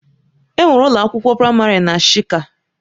Enwere ụlọ akwụkwọ praịmarị na shika.